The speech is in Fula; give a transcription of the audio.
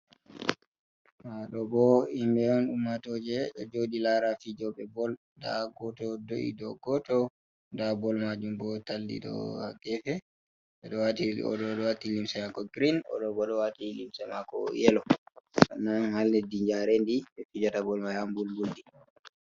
Nda ɗo bo himɓɓe on ummatoje ɗo jodi lara fijo be bol nda goto do’i dou goto nda bol majum bo talli ɗo ha gefe oɗo ɗo wati limse mako grin, oɗo bo ɗo wati limse mako yelo nonon ha leddi jarendi ɓe fijata bol man ha mɓulɓulɗi.